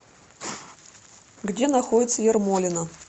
где находится ермолино